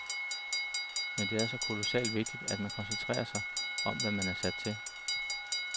Men det er så kolossalt vigtigt, at man koncentrerer sig om, hvad man er sat til.